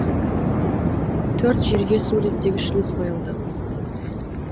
төрт жерге су реттегіш шлюз қойылды